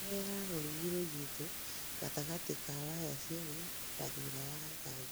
oherera rũrĩgĩ rũnyĩtũ gatagatĩ ka waya cĩerĩ na thũtha wa nyanya